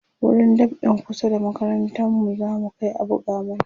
wurin dab'in kusa da makarantar mu zamu Kai a buga mana